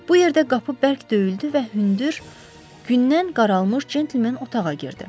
Bu yerdə qapı bərk döyüldü və hündür gündən qaralmış centlmen otağa girdi.